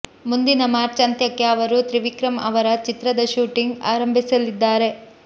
ಮುಂದಿನ ಮಾರ್ಚ್ ಅಂತ್ಯಕ್ಕೆ ಅವರು ತ್ರಿವಿಕ್ರಮ್ ಅವರ ಚಿತ್ರದ ಶೂಟಿಂಗ್ ಆಂಭಿಸಲಿದ್ದಾರೆ